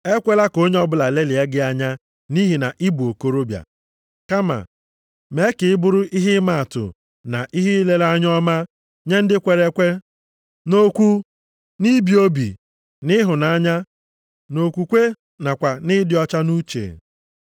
Ekwela ka onye ọbụla lelịa gị anya nʼihi na ịbụ okorobịa. Kama mee ka ị bụrụ ihe ịmaatụ na ihe ilere anya ọma nye ndị kwere ekwe, nʼokwu, nʼibi obi, nʼịhụnanya, nʼokwukwe nakwa nʼịdị ọcha nʼuche.